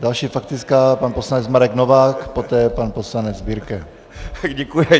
Další faktická - pan poslanec Marek Novák, poté pan poslanec Birke.